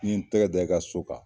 N'i n ye tɛgɛ da i ka so kan.